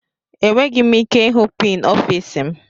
Enweghị m ike ịhụ pin ọfịs m.